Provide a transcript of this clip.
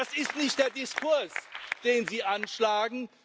Aber das ist nicht der Diskurs, den Sie anschlagen.